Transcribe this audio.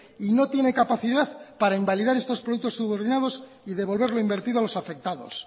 y no tiene capacidad para invalidar estor productos subordinados y devolver lo invertido a los afectados